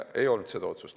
Ei olnud seda otsust.